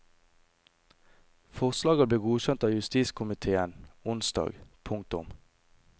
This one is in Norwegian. Forslaget ble godkjent av justiskomitéen onsdag. punktum